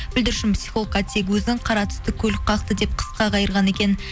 бүлдіршін психологқа тек өзін қара түсті көлік қақты деп қысқа қайырған екен